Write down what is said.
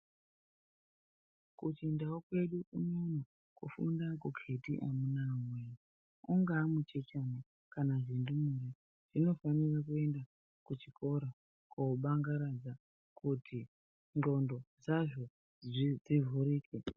Kuchindau kwedu unono kufunda akukheti amunaa wee, ungaa muchechana kana hundumure hwemene hunofanira kuenda kuchikora kobanagaradza kuti ndxondo dzazvo dzivhurike.